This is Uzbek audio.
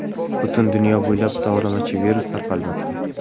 Butun dunyo bo‘ylab tovlamachi-virus tarqalmoqda.